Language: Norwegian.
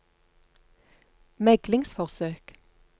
meglingsforsøk